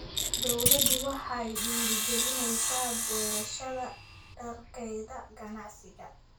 Dawladdu waxay dhiirigelinaysaa beerashada dalagyada ganacsiga.